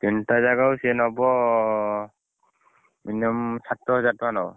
ତିନଟା ଜାଗାକୁ ସିଏ ନବ minimum ସାତ ହଜାର ଟକଣା ନବ